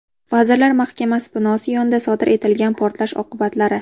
Vazirlar Mahkamasi binosi yonida sodir etilgan portlash oqibatlari.